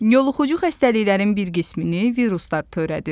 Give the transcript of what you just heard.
Yoluxucu xəstəliklərin bir qismini viruslar törədir.